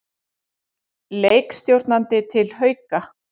Leikstjórnandi til Hauka